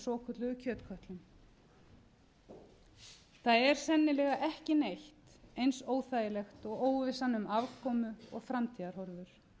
svokölluðu kjötkötlum það er sennilega ekki neitt eins óþægilegt og óvissan um afkomu og framtíðarhorfur